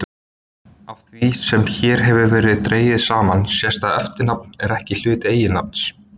Af því sem hér hefur verið dregið saman sést að eftirnafn er ekki hluti eiginnafns.